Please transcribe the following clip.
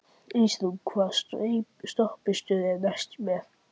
Ísrún, hvaða stoppistöð er næst mér?